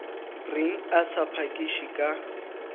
reng a sa phakiše ka